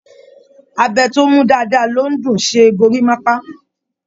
Abẹ tó mú dáadáa ló dùn-ún ṣe gorímápá